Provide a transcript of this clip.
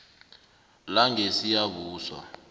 langesiyabuswa